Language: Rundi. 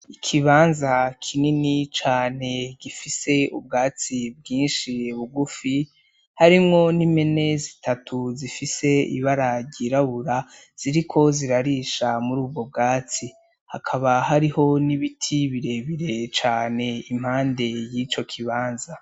Ikibanza kinini cane gifise ubwatsi bwinshi bugufi harimwo n' impene zitatu zifise ibara ryirabura ziriko zirarisha muri ubwo bwatsi hakaba hariho n'ibiti bire bire cane impande y'ico kibanza.